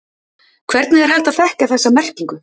Hvernig er hægt að þekkja þessa merkingu?